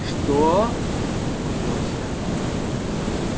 что-о-о-о-о-о возмутилась я